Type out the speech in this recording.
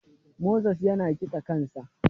Moses ya na kitsa kansa.